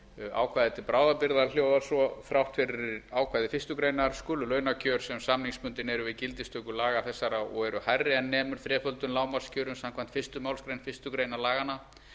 ákvæði til bráðabirgða orðast svo þrátt fyrir ákvæði fyrstu grein skulu launakjör sem samningsbundin eru við gildistöku laga þessara og eru hærri en sem nemur þreföldum lágmarkskjörum samkvæmt fyrstu málsgrein fyrstu grein laganna